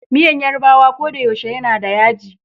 Miyan Yarbawa kodayaushe yanada yaji.